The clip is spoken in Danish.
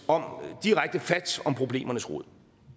og direkte fat om problemernes rod